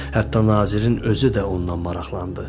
Hətta nazirin özü də ondan maraqlandı.